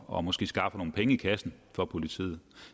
og måske skaffer nogle penge i kassen for politiet